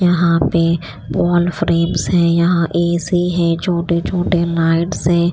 यहां पे wall frames है यहां ए_सी है छोटे छोटे लाइट्स हैं।